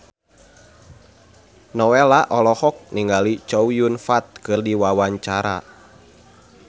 Nowela olohok ningali Chow Yun Fat keur diwawancara